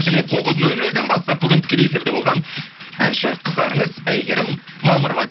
және тоғыз нөл нөлден бастап бүгін тікелей эфирде болған әнші қыздарыңыз әйгерім мамырова